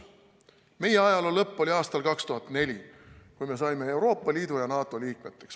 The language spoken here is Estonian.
Meie ajaloo lõpp oli aastal 2004, kui me saime Euroopa Liidu ja NATO liikmeks.